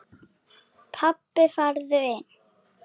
Pabbi farðu inn!